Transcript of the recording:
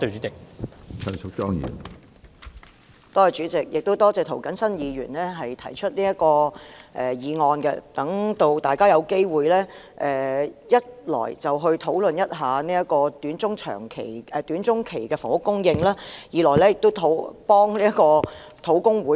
主席，多謝涂謹申議員提出這項議案，讓大家有機會討論短中期的房屋供應，以及為土地供應專責小組討回公道。